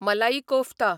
मलाई कोफ्ता